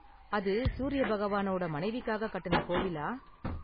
அது சூரியபகவானோட மனைவிக்காக கட்டுன கோவிலா?